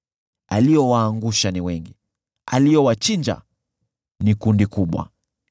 Aliowaangusha ni wengi; aliowachinja ni kundi kubwa.